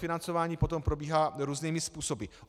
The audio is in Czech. Financování potom probíhá různými způsoby.